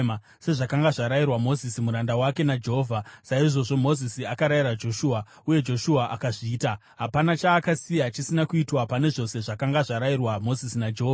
Sezvakanga zvarayirwa Mozisi muranda wake naJehovha, saizvozvo Mozisi akarayira Joshua, uye Joshua akazviita; hapana chaakasiya chisina kuitwa pane zvose zvakanga zvarayirwa Mozisi naJehovha.